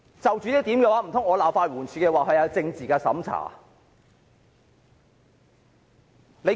就此，難道我又要責罵法援署，指它有政治審查嗎？